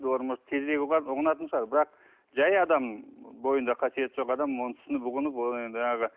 олар может тезірек ұғынатын шығар бірақ жай адам бойында қасиеті жоқ адам оны түсініп ұғынып оның енді жаңағы